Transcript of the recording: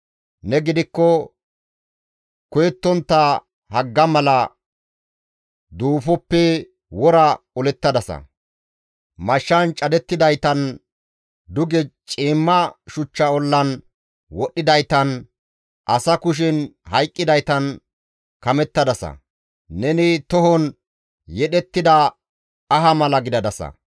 Ne gidikko koyettontta hagga mala duufoppe wora olettadasa; mashshan cadettidaytan, duge ciimma shuchcha ollan wodhdhidaytan, asa kushen hayqqidaytan kamettadasa; neni tohon yedhettida aha mala gidadasa.